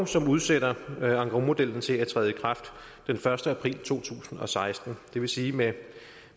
som udsætter engrosmodellen til at træde i kraft den første april to tusind og seksten det vil sige med